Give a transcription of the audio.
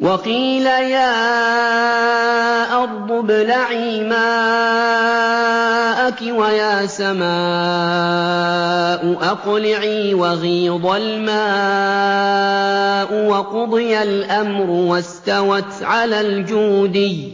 وَقِيلَ يَا أَرْضُ ابْلَعِي مَاءَكِ وَيَا سَمَاءُ أَقْلِعِي وَغِيضَ الْمَاءُ وَقُضِيَ الْأَمْرُ وَاسْتَوَتْ عَلَى الْجُودِيِّ ۖ